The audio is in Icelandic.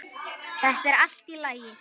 Þetta er allt í lagi.